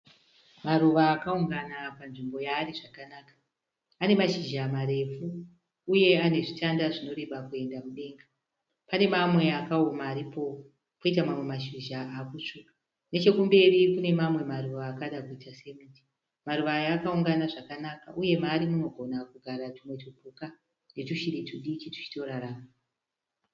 Maruva akaungana panzvimbo yaari zvakanaka. Ane mashizha marefu uye ane zvitanda zvinoreba kuenda kudenga. Pane mamwe akaoma aripo, koita mamwe mashizha akutsvuka. Nechekumberi kune mamwe maruva akada kuita sekiti. Maruva aya akaoma zvakanaka uye maari munogona kugara tumwe tupuka netushiri tudiki tuchitorarama.